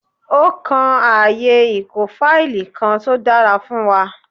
Ó kan ààyè ìkó fáìlì kan tó dára fún wa